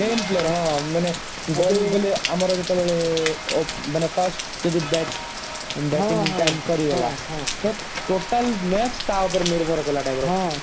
main player ହଁ ମାନେ ଆମର ଯେତେବେଳେ ମାନେ first ଯଦି bat ମାନେ bating time ସରିଗଲା ତ total match ପୁରା ତା ଉପରେ ନିର୍ଭର କଲା type ର